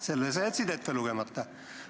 Selle sa jätsid ette lugemata.